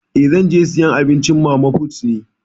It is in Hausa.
Eh, zan je sayan abinci a mana put ne.